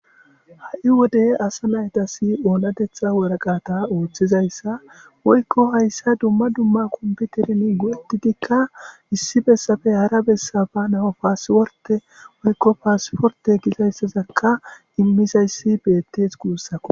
ha'i wode asa naytasi oonadetha woraqata ooththizayssa woykko hayssa dumma dumma kombiterin go'ettidikka issi bessafe hara bessafa nao paasiworte woykko paasiforte gisayssazakka immisayssi beettees guussako.